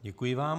Děkuji vám.